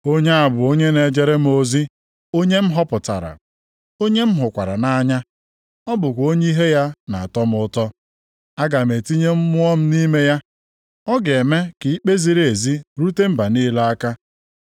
“Onye a bụ onye na-ejere m ozi, onye m họpụtara. Onye m hụkwara nʼanya. O bụkwa onye ihe ya na-atọ m ụtọ. Aga m etinye Mmụọ m nʼime ya. Ọ ga-eme ka ikpe ziri ezi rute mba niile aka.